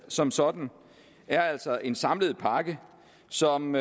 som sådan er altså en samlet pakke som